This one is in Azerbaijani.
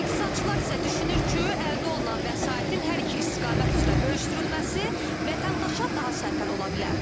İqtisadçılar isə düşünür ki, əldə olunan vəsaitin hər iki istiqamət üzrə bölüşdürülməsi vətəndaşa daha sərfəli ola bilər.